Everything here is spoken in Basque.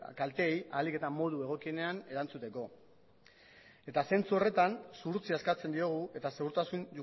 kalteei ahalik eta modu egokienean erantzuteko eta zentzu horretan zuhurtzia eskatzen diogu eta segurtasun